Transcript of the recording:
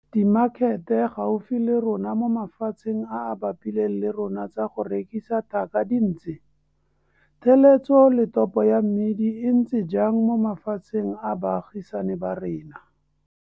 Dimakhete gaufi le rona mo mafatsheng a a bapileng le rona tsa go rekisa tlhaka di ntse? Theletso le topo ya mmidi e ntse jang mo mafatsheng a baagisane ba rona?